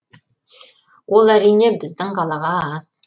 ол әрине біздің қалаға аз